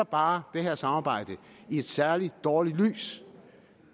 bare det her samarbejde i et særligt dårligt lys